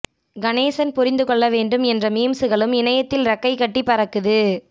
கணேசன் புரிந்து கொள்ள வேண்டும் என்ற மீம்ஸ்சுகளும் இணையத்தில் ரெக்கை கட்டி பறக்குது